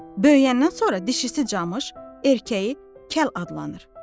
Böyüyəndən sonra dişisi camış, erkəyi kəl adlanır.